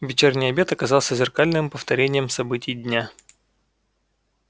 вечерний обед оказался зеркальным повторением событий дня